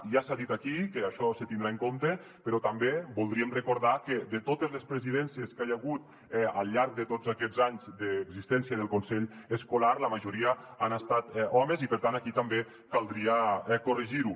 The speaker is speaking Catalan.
ja s’ha dit aquí que això se tindrà en compte però també voldríem recordar que de totes les presidències que hi ha hagut al llarg de tots aquests anys d’existència del consell escolar la majoria han estat homes i per tant aquí també caldria corregir ho